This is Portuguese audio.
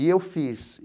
E eu fiz.